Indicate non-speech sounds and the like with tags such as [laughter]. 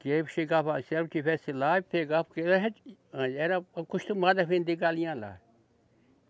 Que aí eu chegava, se ela não estivesse lá e pegava, porque [unintelligible] era acostumada a vender galinha lá.